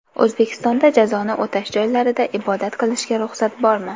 O‘zbekistonda jazoni o‘tash joylarida ibodat qilishga ruxsat bormi?.